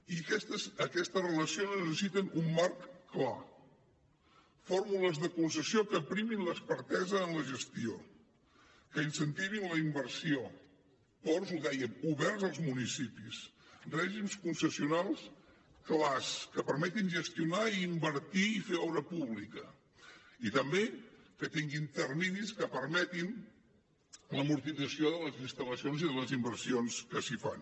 i aquestes relacions necessiten un marc clar fórmules de concessió que facin prevaldre l’expertesa en la gestió que incentivin la inversió ports ho dèiem oberts als municipis règims concessionals clars que permetin gestionar i invertir i fer obra pública i també que tinguin terminis que permetin l’amortització de les instal·lacions i de les inversions que s’hi fan